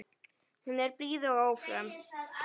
Hún er blíð og ófröm.